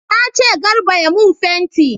Na ce Garba ya mun fenti!